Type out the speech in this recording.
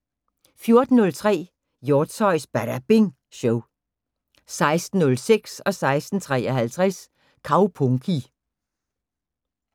14:03: Hjortshøjs Badabing Show 16:06: Kaupunki 16:53: Kaupunki